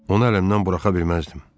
Onu əlimdən buraxa bilməzdim.